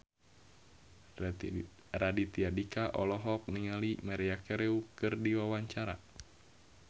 Raditya Dika olohok ningali Maria Carey keur diwawancara